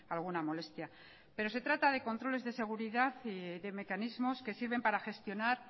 alguna molestia pero se trata de controles de seguridad y de mecanismos que sirven para gestionar